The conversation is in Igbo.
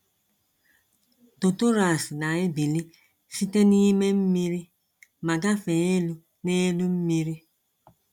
Totoras na-ebili site n’ime mmiri ma gafee elu n’elu mmiri.